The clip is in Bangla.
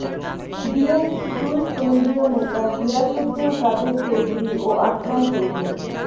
বিএনপির দুই কেন্দ্রীয় নেতা গিয়াসউদ্দিন কাদের চৌধুরী ও আসলাম চৌধুরী